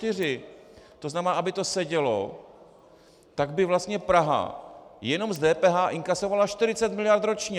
To znamená, aby to sedělo, tak by vlastně Praha jenom z DPH inkasovala 40 miliard ročně.